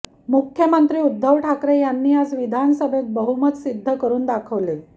मुख्यमंत्री उद्धव ठाकरे यांनी आज विधानसभेत बहुमत सिद्ध करून दाखवले